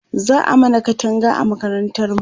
za'a mana Katanga a makarantar mu